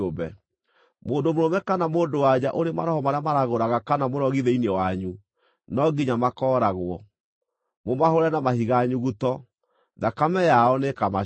“ ‘Mũndũ mũrũme kana mũndũ-wa-nja ũrĩ maroho marĩa maragũraga kana mũrogi thĩinĩ wanyu, no nginya makooragwo. Mũmahũũre na mahiga nyuguto. Thakame yao nĩĩkamacookerera.’ ”